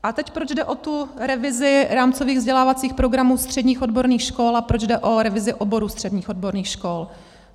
A teď proč jde o tu revizi rámcových vzdělávacích programů středních odborných škol a proč jde o revizi oborů středních odborných škol.